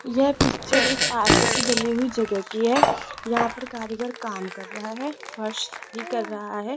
यह पिक्चर एक से बनी हुई जगह की है यहां पर कारीगर काम कर रहा है फर्श ही कर रहा है।